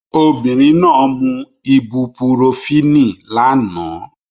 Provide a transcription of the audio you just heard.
Obìnrin náà mú ibupurofínì lánàá